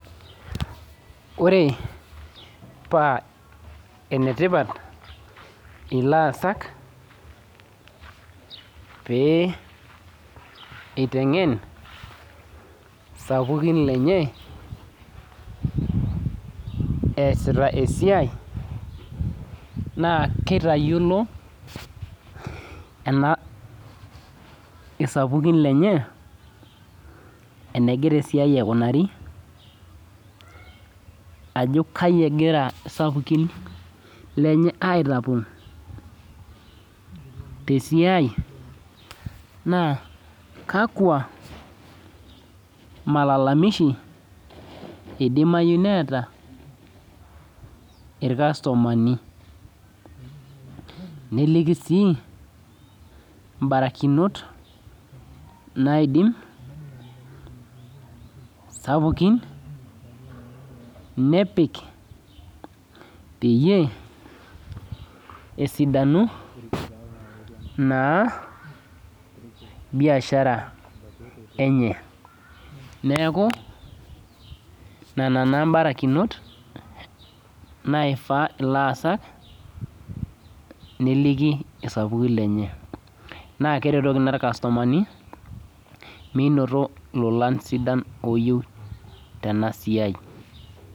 Ore pa enetipat ilaasak pe itengen sapukin lenye easita esiai na kitayiolo sapukin lenye enegira esiai aikunari ajo kai egira sapukin lenye aitapongo tesia na kakwa malalamishi idimai neeta irkastomani niliki sii mbarikinot naidim sapukin nepik peyie esidanu naa biashara enye neaku nona mbarikinot naifaa laasak neliki sapukin lenye na keleliaki irkastomani minoto lolan sidan tenasiai.